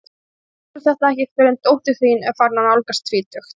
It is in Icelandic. Þú skilur þetta ekki fyrr en dóttir þín er farin að nálgast tvítugt.